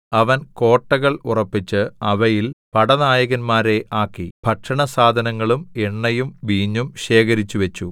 അവൻ കോട്ടകൾ ഉറപ്പിച്ച് അവയിൽ പടനായകന്മാരെ ആക്കി ഭക്ഷണസാധനങ്ങളും എണ്ണയും വീഞ്ഞും ശേഖരിച്ചുവെച്ചു